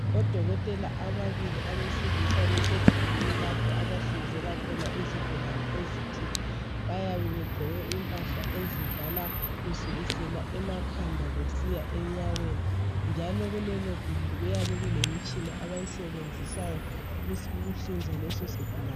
Odokotela ababili abesilisa besegumbini lapho abahlinzela khona izigulani ezithile. Bayabe begqoke impahla ezivala kusukisela emakhanda kusiya enyaweni njalo kulelogumbi kuyabe kulemtshina abayisebenzisayo ukuhlinza leso sigulani.